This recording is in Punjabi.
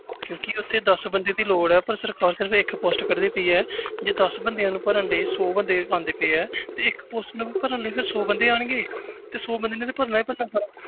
ਕਿਉਂਕਿ ਉੱਥੇ ਦਸ ਬੰਦੇ ਦੀ ਲੋੜ ਹੈ ਪਰ ਸਰਕਾਰ ਸਿਰਫ਼ ਇੱਕ post ਕੱਢਦੀ ਪਈ ਹੈ ਜੇ ਦਸ ਬੰਦਿਆਂ ਨੂੰ ਭਰਨ ਲਈ ਸੌ ਬੰਦੇ ਆਉਂਦੇ ਪਏ ਹੈ ਤੇ ਇੱਕ post ਨੂੰ ਭਰਨ ਲਈ ਫਿਰ ਸੌ ਬੰਦੇ ਆਉਣਗੇ ਤੇ ਸੌ ਬੰਦੇ ਨੇ ਭਰਨਾ ਹੀ ਭਰਨਾ form